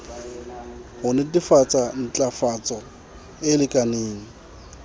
ho netefatsa ntlafatso e lekaneng